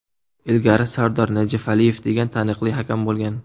Ilgari Sardor Najafaliyev degan taniqli hakam bo‘lgan.